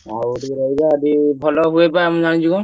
ଆଉ ଯଦି ଭଲ ହୁଏ ବା ଆମେ ଜାଣିଛୁ ନା।